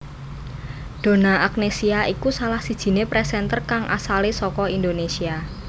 Donna Agnesia iku salah sijiné presenter kang asale saka Indonésia